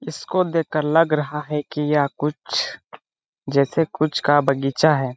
इसको देखकर लग रहा है कि यह कुछ जैसे कुछ का बगीचा है।